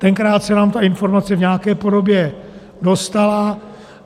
Tenkrát se nám ta informace v nějaké podobě dostala.